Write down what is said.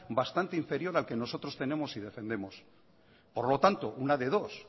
bastante inferior al que nosotros tenemos y defendemos por lo tanto una de dos